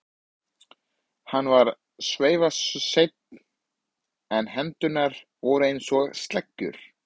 Hann var svifaseinn en hendurnar voru einsog sleggjur.